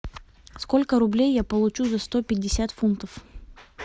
сколько рублей я получу за сто пятьдесят фунтов